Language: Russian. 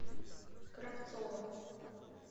кравцова